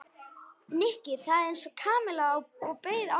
Nikki þagði eins og Kamilla og beið átekta.